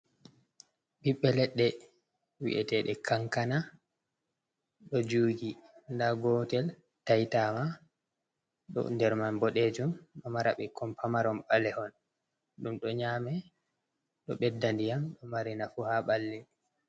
Ɓiɓɓe ledde wi’etede kankana, ɗo juugi nda gotel taitama ɗo nder man boɗejum, ɗo mara ɓikkon pamaron ɓalehon ɗum ɗo nyama ɗo bedda ndiyam do mari nafu ha ɓalli.